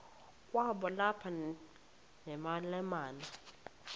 kwakaba lapha nemalana